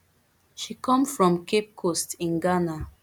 she come from cape coast in ghana